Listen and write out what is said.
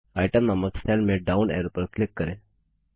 item नामक cell में down arrow पर क्लिक करें